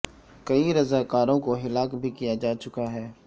کئی رضا کاروں کو ہلاک بھی کیا جا چکا ہے